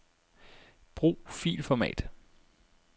Brug filformat.